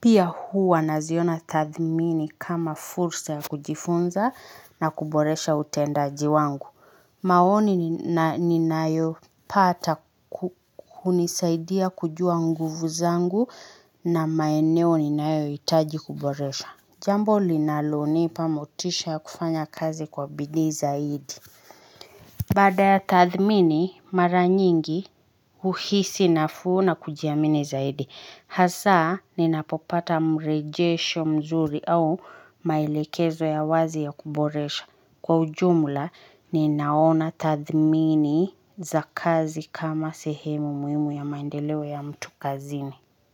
pia huwa naziona tathimini kama furusa ya kujifunza na kuboresha utendaji wangu. Maoni ni na ninayopata ku hunisaidia kujua nguvu zangu na maeneo ninayohitaji kuboresha. Jambo linalonipa motisha kufanya kazi kwa bidii zaidi. Baada ya tathmini, mara nyingi huhisi nafuu na kujiamini zaidi. Hasaa ni napopata murejesho mzuri au maelekezo ya wazi ya kuboresha Kwa ujumla, ninaona tathmini za kazi kama sehemu muhimu ya maendeleo ya mtu kazini.